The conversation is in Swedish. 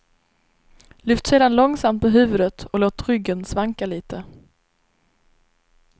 Lyft sedan långsamt på huvudet och låt ryggen svanka lite.